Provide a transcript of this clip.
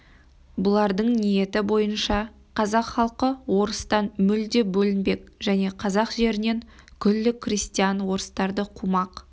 бұлардың ниеті бойынша қазақ халқы орыстан мүлде бөлінбек және қазақ жерінен күллі крестьян орыстарды қумақ